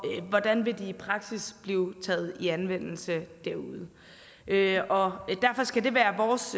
hvordan vil de i praksis blive taget i anvendelse derude derfor skal det være vores